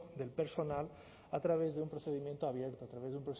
del personal a través de un procedimiento abierto a través de